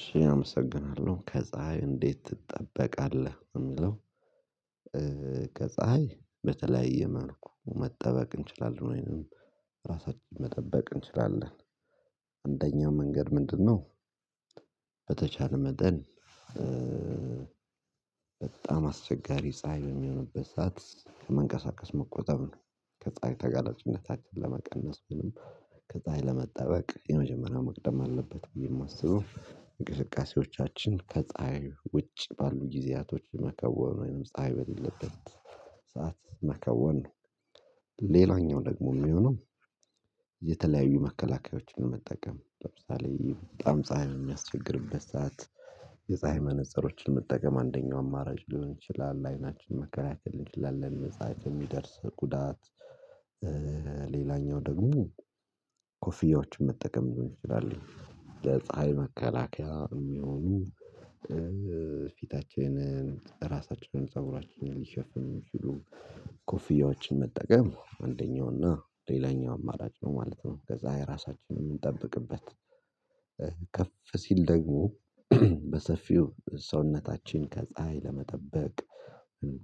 ሺህ አመሰግናለሁ ከፀሀይ እንዴት ትጠበቃለህ የሚለው ከፀሀይ በተለያየ መሆን መጠበቅ እንችላለን ወይንም ራሳችን መጠበቅ እንችላለን አንደኛው መንገድ ምንድነው? በተቻለ መጠን በጣም አስቸጋሪ ፀሀይ የሚሆንበት ሰዓት መንቀሳቀስ መቆጠብ ነው። ከፀሀይ ተጋላጭነታችን ለመቀነስ ምንም ከፀሀይ ለመጠበቅ የመጀመሪያው መቅደም አለበት ብዬ የማስበው እንቅስቃሴዎቻችን ከፀሀይ ውጭ ባሉ ጊዜያቶች መከወኑ ወይንም ፀሀይ በሌለበት ሰዓት መከወን። ሌላኛው ደግሞ የሚሆነው የተለያዩ መከላከያዎችን ለመጠቀም ለምሳሌ በጣም ፀሀይ የሚያስቸግርበት ሰዓት የፀሀይ መነፀሮችን መጠቀም አንደኛው አማራጭ ሊሆን ይችላል። ለአይናችን መከላከል እንችላለን መፃት የሚደርስ ጉዳት። ሌላኛው ደግሞ ኮፊያዎችን መጠቀም ሊሆን ይችላል። ለፀሀይ መከላከያ የሚሆኑ ፊታችንን ራሳችንን ፀጉራችንን ሊሸፍን የሚችሉ ኮፍያዎችን መጠቀም አንደኛው እና ሌላኛው አማራጭ ነው ማለት ነው። ከፀሀይ ራሳችንን እምንጠብቅበት ከፍ ሲል ደግሞ በሰፊው ሰውነታችን ከፀሀይ ለመጠበቅ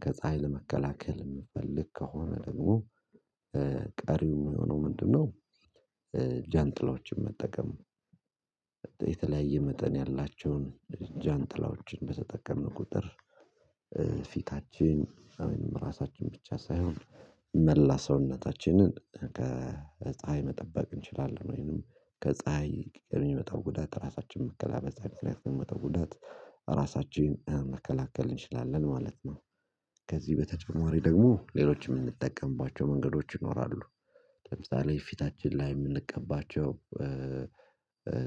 ከፀሀይ ለመከላከል የምፈልግ ከሆነ ደግሞ ቀሪው የሚሆነው ምንድነው? ጃንጥላዎችን መጠቀም። የተለያየ መጠን ያላቸውን ጃንጥላዎችን በተጠቀምን ቁጥር ፊታችን አሚን ራሳችን ብቻ ሳይሆን መላ ሰውነታችንን ከፀሀይ መጠበቅ እንችላለን ወይንም ከፀሀይ የሚመጣው ጉዳት ራሳችን መከላከል በፀሀይ የሚመጣው ጉዳት ራሳችን መከላከል እንችላለን ማለት ነው። ከዚህ በተጨማሪ ደግሞ ሌሎችም የምንጠቀምባቸው መንገዶች ይኖራሉ። ለምሳሌ ፊታችን ላይ የምንቀባቸው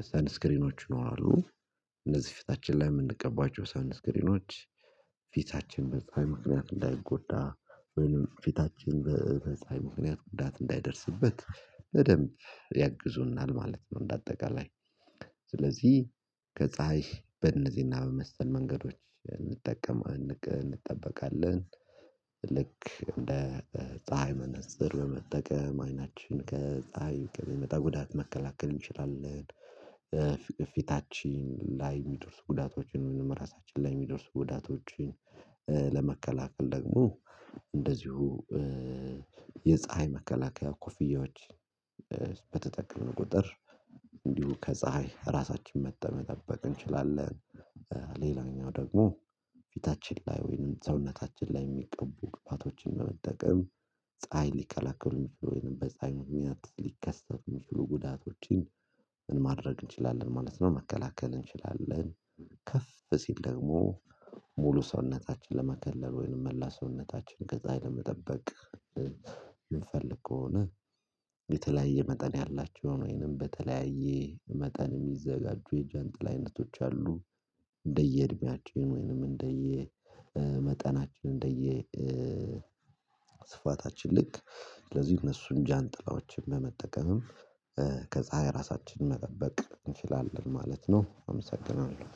ስንስክሪኖች ይኖራሉ እነዚህ ፊታችን ላይ የምንቀባቸው ሳይንስ ስክሪኖች ፊታችን በፀሀይ ምክንያት እንዳይጎዳ ወይም ፊታችን በ ፀሀይ ምክንያት ጉዳት እንዳይደርስበት በደንብ ያግዙናል ማለት ነው። እንደ አጠቃላይ ስለዚህ ከፀሀይ በእነዚህና በመሰል መንገዶች እንጠቀማለን እንጠበቃለን ልክ እንደ ፀሀይ መነፀር ለመጠቀም አይናችን ከፀሀይ ከሚመጣ ጉዳት መከላከል እንችላለን። ፊታችን ላይ የሚደርሱ ጉዳቶችን ምንም ራሳችን ላይ የሚደርሱ ጉዳቶችን ለመከላከል ደግሞ እንደዚሁ የፀሀይ መከላከያ ኮፍያዎች በተጠቀምን ቁጥር እንዲሁ ከፀሀይ ራሳችን መጠበቅ እንችላለን። ሌላኛው ደግሞ ፊታችን ላይ ወይንም ሰውነታችን ላይ የሚቀቡ ግብአቶችን በመጠቀም ፀሀይ ሊከላከሉ የሚችሉ ወይንም በፀሀይ ምክንያት ሊከሰቱ የሚችሉ ጉዳቶችን ምን ማድረግ እንችላለን ማለት ነው። መከላከል እንችላለን ከፍ ሲል ደግሞ ሙሉ ሰውነታችን ለመከለል ወይንም መላ ሰውነታችን ከዛ ለመጠበቅ የምንፈልግ ከሆነ የተለያየ መጠን ያላቸው ወይንም በተለያየ መጠን የሚዘጋጁ የጃንጥላ አይነቶች አሉ። እንደየ እድሜያቸው ወይንም እንደየ መጠናችን እንደየ ስፋታችን ልክ ስለዚህ እነሱን ጃንጥላዎችን በመጠቀምም ከፀሀይ ራሳችን መጠበቅ እንችላለን ማለት ነው። አመሰግናለሁ